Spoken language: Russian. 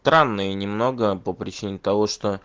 транные немного по причине того что